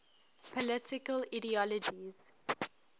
political ideologies